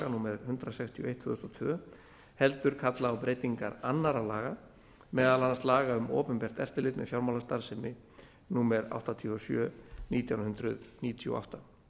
númer hundrað sextíu og eitt tvö þúsund og tvö heldur kalla á breytingar annarra laga meðal annars laga um opinbert eftirlit með fjármálastarfsemi númer áttatíu og sjö nítján hundruð níutíu og átta